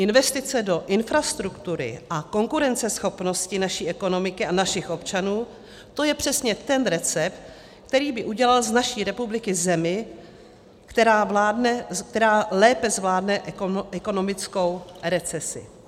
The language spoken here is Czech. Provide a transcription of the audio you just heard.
Investice do infrastruktury a konkurenceschopnosti naší ekonomiky a našich občanů, to je přesně ten recept, který by udělal z naší republiky zemi, která lépe zvládne ekonomickou recesi.